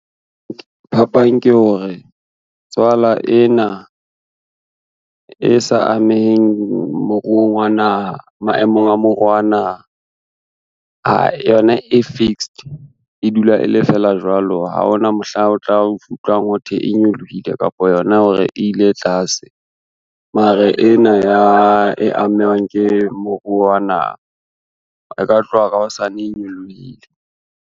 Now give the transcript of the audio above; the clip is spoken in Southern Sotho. Phapang ke hore tswala ena, e sa ameheng maemong a moruo wa naha, yona e fixed, e dula e le fela jwalo ha ona mohlang o tla utlwa ho thwe e nyolohile kapa yona hore e ile tlase. Mara ena e amehang ke moruo wa naha e ka tloha ka hosane e nyolohile.